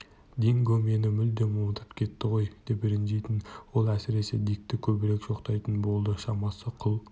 динго мені мүлдем ұмытып кетті ғой деп ренжитін ол әсіресе дикті көбірек жоқтайтын болды шамасы құл